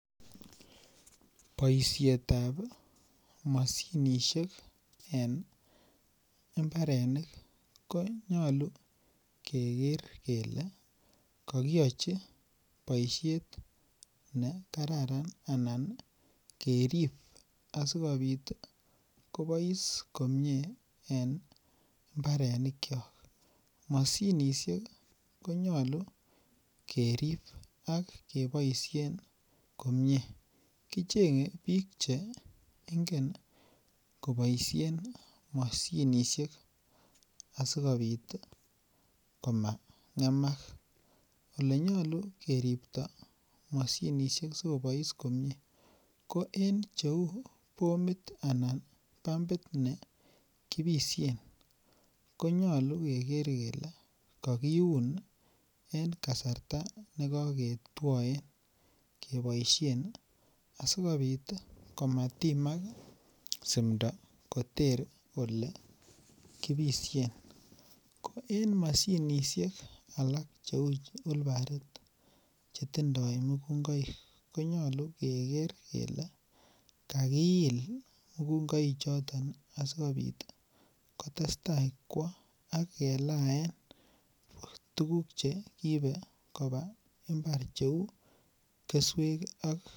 Boisiet ab mashinisiek en mbarenik ko nyolu keger kele kokiyochi boisiet ne kararan anan kerib asikobit kobois komie en mbarenikyok mashinisiek ko nyolu kerib ak keboisien komie kichenge bik Che ingen koboisien mashinisiek asikobit komangemak Ole nyolu keripto mashinisiek asi kobois komie ko en cheu bomit Anan pumbit ne kibisyen ko nyolu keger kele kakiun en kasarta nekoketwoen keboisien asikobit komatimak simdo koter Ole kibisyen ko en mashinisiek alak Cheu whilbarit Che tindoi mukungoik ko nyolu keger kele kakiil mukungoichoto asi kobit kotestai kwo ak kelaen tuguk Che kiibe koba mbar Cheu keswek ak keturek